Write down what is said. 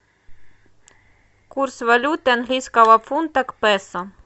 курс валют английского фунта к песо